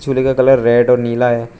झूले का colour red और नीला है।